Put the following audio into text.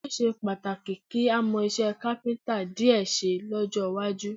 Ó ṣe pàtàkì kí a mọ iṣẹ́ káfíńtà díẹ̀ ṣe lọ́jọ́ iwájú